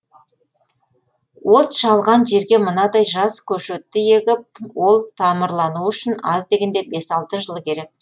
от шалған жерге мынадай жас көшетті егіп ол тамырлануы үшін аз дегенде бес алты жыл керек